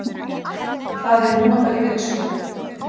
Það er núna bara í vinnslu